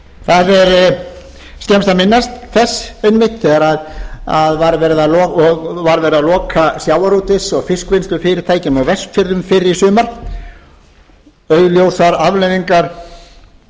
það er skemmst að minnast þess einmitt þegar var verið að loka sjávarútvegs og fiskvinnslufyrirtækjum á vestfjörðum fyrr í sumar augljósar afleiðingar